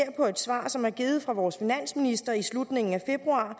et svar som er givet fra vores finansminister i slutningen af februar